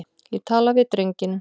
Ég tala við drenginn.